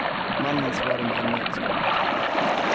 Mannen svarade med ännu ett skott.